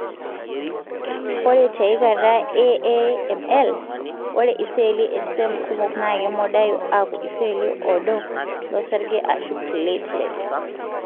ore tiaikata e AML, ore iseli estem kumok na kemodayu aku iseli odo losarge ashu platelets.